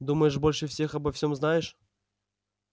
думаешь больше всех обо всём знаешь